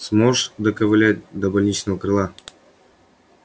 сможешь доковылять до больничного крыла